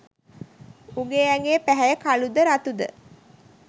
උගේ ඇඟේ පැහැය කළුද රතුද